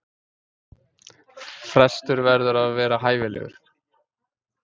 Frestur verður að vera hæfilegur.